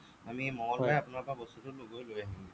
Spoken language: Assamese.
আমি মঙ্গলবাৰে আপোনাৰ পৰা বস্তুটো গৈ লৈ আহিম গে